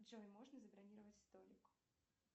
джой можно забронировать столик